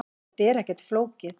Þetta er ekkert flókið.